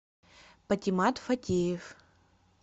патимат фатеев